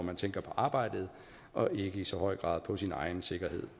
man tænker på arbejdet og ikke i så høj grad på sin egen sikkerhed